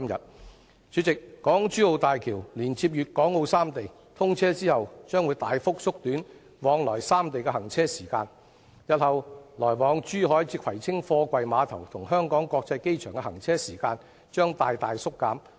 代理主席，港珠澳大橋連接粵港澳三地，通車後將會大幅縮短來往三地的行車時間，日後來往珠海至葵青貨櫃碼頭與香港國際機場的行車時間將大大縮減。